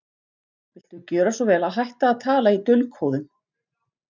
Viltu gjöra svo vel að hætta að tala í dulkóðum!